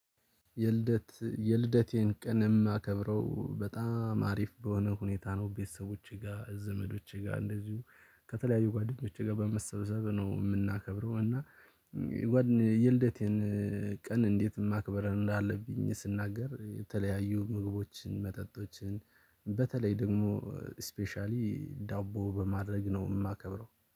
የልደት የልደቴን ቀን የማከብረው በጣም አሪፍ በሆነ ሁኔታ ነው። ቤተሰቦቼ ጋር ዘመዶቼ ጋር እንደዚሁ ከተለያዩ ጓደኞች ጋር በመሰበሰብ ነው የምናከብረው። እና የልደቴን ቀን እንዴት ማክበር እንዳለብኝ ስናገር የተለያዩ ምግቦችን መጠጦችን በተለይ ደግሞ ስፔሻሊ ዳቦ በማድረግ ነው የማከብረው።